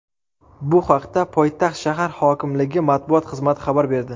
Bu haqda poytaxt shahar hokimligi matbuot xizmati xabar berdi .